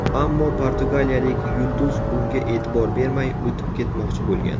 Ammo portugaliyalik yulduz bunga e’tibor bermay o‘tib ketmoqchi bo‘lgan.